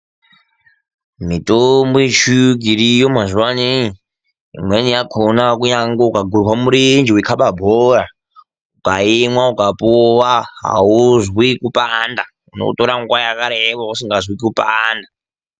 Mitombo yechiyungu iriyo mazuwaano imweni yakhona kunyangwe ukagurwe murenje weikaba bhora, ukaimwa ukapuwa auzwi kupanda unotora nguwa yakareba usingazwi kupanda.